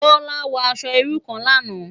Bola wò aṣò irú kán làná